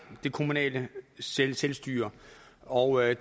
det kommunale selvstyre og